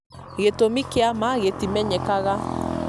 gĩtũmi kĩa ma gĩtimenyekaga